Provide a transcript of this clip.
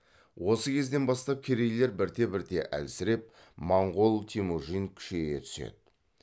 осы кезден бастап керейлер бірте бірте әлсіреп монғол темүжин күшейе түседі